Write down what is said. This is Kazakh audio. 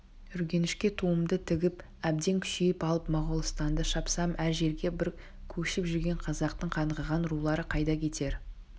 үргенішке туымды тігіп әбден күшейіп алып моғолстанды шапсам әр жерге бір көшіп жүрген қазақтың қаңғыған рулары қайда кетер